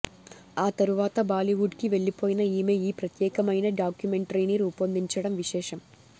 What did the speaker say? ఆ తరువాత బాలీవుడ్కి వెళ్లిపోయిన ఈమె ఈ ప్రత్యేకమైన డాక్యుమెంటరీని రూపొందించడం విశేషం